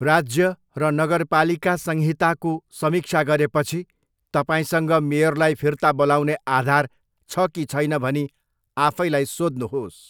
राज्य र नगरपालिका संहिताको समीक्षा गरेपछि तपाईँसँग मेयरलाई फिर्ता बोलाउने आधार छ कि छैन भनी आफैलाई सोध्नुहोस्।